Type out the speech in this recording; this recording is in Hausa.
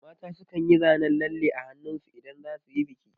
Mata su kan yi zanen lalle a hannun su idan za su yi biki